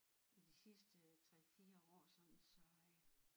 I de sidste 3 4 år sådan så øh